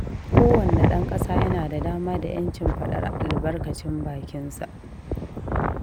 Kowanne ɗan ƙasa yana da dama da 'yancin faɗar albarkacin bakinsa